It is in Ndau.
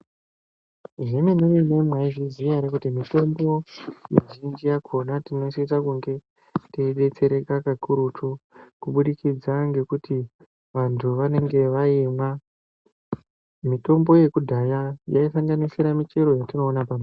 Zvemene mene maizviziva here kuti mitombo mizhinji yakona tinosisa kunge teidetsereka kakurutu kubudikidza ngekuti vantu vanenge vaimwa mitombo yekudhaya yaisanganisira michero yatinoona.